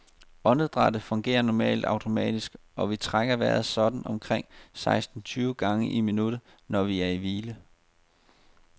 Åndedrættet fungerer normalt automatisk, og vi trækker vejret sådan omkring seksten tyve gange i minuttet, når vi er i hvile.